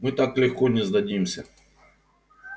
мы так легко не сдадимся